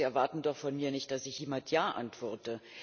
Sie erwarten doch von mir nicht, dass ich mit Ja antworte.